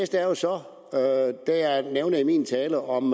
der jo så det jeg nævnte i min tale om